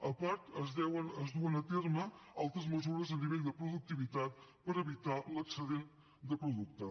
a part es duen a terme altres mesures a nivell de productivitat per evitar l’excedent de producte